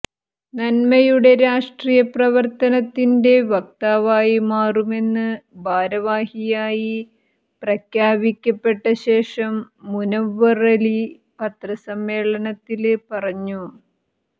നന്മയുടെ രാഷ്ട്രീയ പ്രവര്ത്തനത്തിന്റെ വക്താവായി മാറുമെന്ന് ഭാരവാഹിയായി പ്രഖ്യാപിക്കപ്പെട്ടശേഷം മുനവ്വറലി പത്രസമ്മേളനത്തില് പറഞ്ഞു